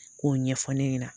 K'o ɲɛfɔ ne ɲɛna.